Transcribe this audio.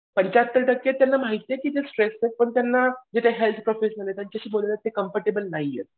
पंच्याहत्तर टक्के आहेत त्यांना माहिती आहे की ते स्ट्रेस्ड आहेत पण त्यांना जे ते हेल्थ त्यांच्याशी बोलले ते कम्फर्टेबल नाहीयेत.